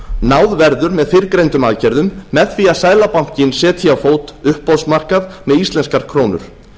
náð verður með fyrrgreindum aðgerðum með því að seðlabankinn setji á fót uppboðsmarkað með íslenskar krónur